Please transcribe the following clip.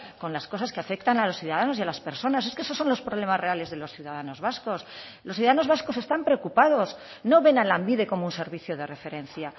con las cosas que afectan a los ciudadanos y a las personas es que esos son los problemas reales de los ciudadanos vascos los ciudadanos vascos están preocupados no ven a lanbide como un servicio de referencia